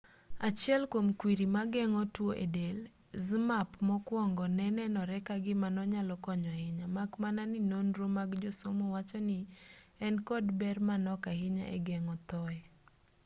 achiel kwom kwriri mageng'o tuo e del zmapp mokwongo ne nenore ka gima nonyalo konyo ahinya mak mana ni nonro mag josomo wacho ni en kod ber manok ahinya e geng'o thoye